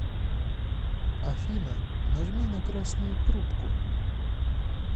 афина нажми на красную трубку